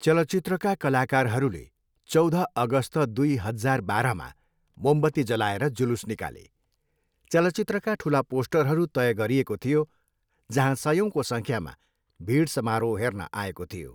चलचित्रका कलाकारहरूले चौध अगस्त दुई हजार बाह्रमा मोमबत्ती जलाएर जुलुस निकाले। चलचित्रका ठुला पोस्टरहरू तय गरिएको थियो, जहाँ सयौँको सङ्ख्यामा भिड समारोह हेर्न आएको थियो।